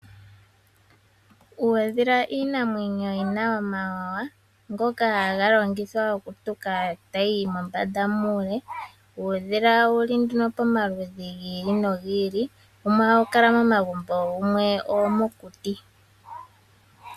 Uudhila iinamwenyo yi na omawawa ngoka haga longithwa oku tuka tayi yi mombanda muule. Uudhila owuli pamaludhi gi ili no gi ili wumwe ohawu kala momagumbo wumwe owo mokuti.